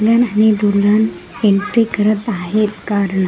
main हानी दुल्हन entry करत आहेत कारण--